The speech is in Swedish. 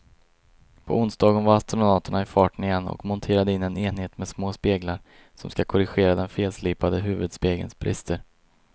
På onsdagen var astronauterna i farten igen och monterade in en enhet med små speglar som ska korrigera den felslipade huvudspegelns brister.